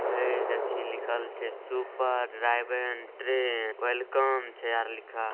हे लिखला सुभ ट्रेन वेलकामे छै अर लिखल ।